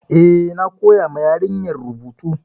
Eh, na koya ma yarinyar rubutu.